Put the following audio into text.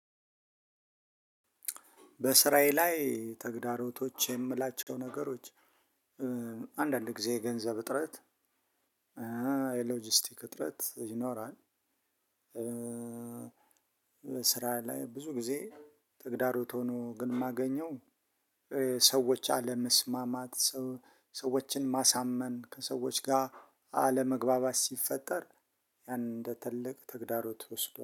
በስራዬ ላይ ተግዳሮቶች የምላቸው ነገሮች አንዳንድ ጊዜ የገንዘብ እጥረት የሎጂስቲክ እጥረት ይኖራል ስራ ላይ ብዙ ጊዜ ተግዳሮት ሆኖ ግን የማገኘው ሰዎች አለመስማማት ሰዎችን ማሳመን ከሰዎች ጋር አለመግባባት ሲፈጠር ያንን እንደ ትልቅ ተግዳሮት እወስደዋለሁ።